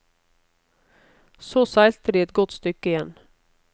Så seilte de et godt stykke igjen.